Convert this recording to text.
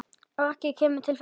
Raggi kemur til þeirra.